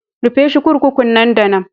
Rufe shi 'kurkukun nan da nan.